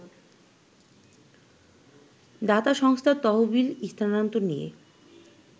দাতা সংস্থার তহবিল স্থানান্তর নিয়ে